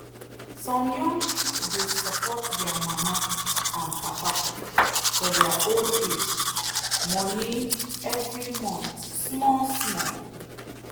some young people dey support their mama and papa for their old age money every month small small.